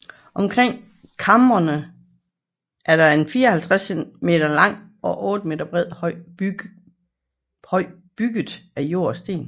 Omkring kamrene er en 54 m lang og 8 m bred høj bygget af jord og sten